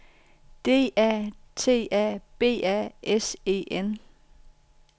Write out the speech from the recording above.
D A T A B A S E N